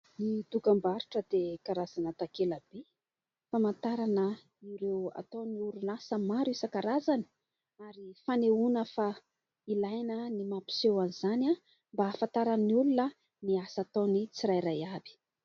Ny dokam-barotra dia karazana takela-by, famantarana ireo ataony orinasa maro isan-karazany ary fanehoana fa ilaina ny mampiseho an'izany mba hahafantaran'ny olona ny asa ataony tsirairay avy.